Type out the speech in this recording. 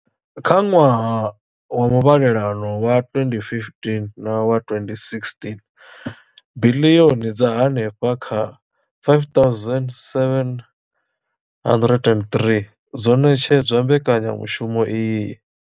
Kha ṅwaha wa muvhalelano wa 2015 na wa 2016, biḽioni dza henefha kha R5 703 dzo ṋetshedzwa mbekanyamushumo iyi.